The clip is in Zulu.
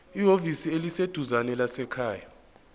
ehhovisi eliseduzane lezasekhaya